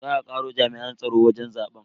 Za a karo jami'an tsaro wajen zaben.